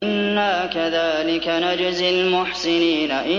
إِنَّا كَذَٰلِكَ نَجْزِي الْمُحْسِنِينَ